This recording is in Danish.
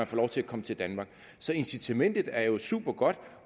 få lov til at komme til danmark så incitamentet er jo supergodt